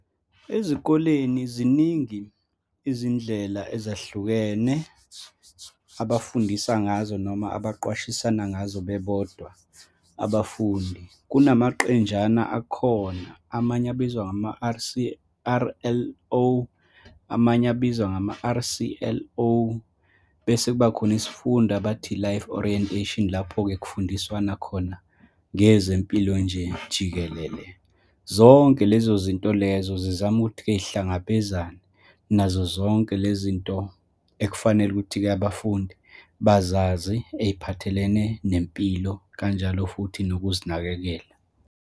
Ezikoleni ziningi izindlela ezahlukene abafundisa ngazo, noma abaqwashisana ngazo bebodwa abafundi. Kunamaqenjana akhona, amanye abizwa ngama-R_C_R_L_O, amanye abizwa ngama-R_C_L_O, bese kuba khona isifundo abathi i-life orientation, lapho-ke kufundiswana khona ngezempilo nje, jikelele. Zonke lezo zinto lezo zizama ukuthi-ke yihlangabezane nazozonke le zinto ekufanele ukuthi-ke, abafundi bazazi, ey'phathelene nempilo, kanjalo futhi nokuzinakekela.